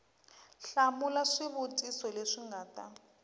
hlamula swivutiso leswi nga ta